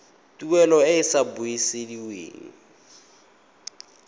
tuelo e e sa busediweng